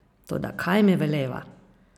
Toda kaj mi veleva?